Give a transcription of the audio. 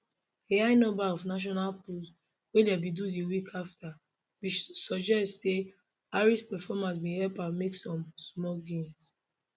a high number of national polls wey dem bin do di week afta bin suggest say harris performance bin help her make some small gains